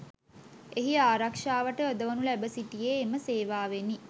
එහි ආරක්ෂාවට යොදවනු ලැබ සිටියේ එම සේවාවෙනි